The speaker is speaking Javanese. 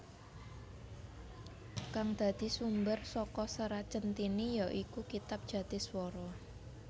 Kang dadi sumber saka Serat Centhini ya iku kitab Jatiswara